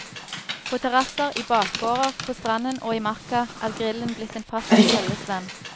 På terrasser, i bakgårder, på stranden og i marka er grillen blitt en fast følgesvenn.